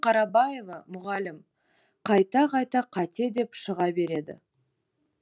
қарабаева мұғалім қайта қайта қате деп шыға береді